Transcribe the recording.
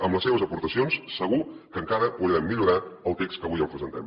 amb les seves aportacions segur que encara podrem millorar el text que avui els presentem